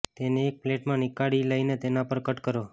તેને એક પ્લેટમાં નીકાળી લઇને તેના પર કટ કરો